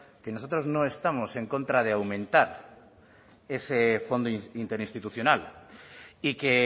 que nosotros no estamos en contra de aumentar ese fondo interinstitucional y que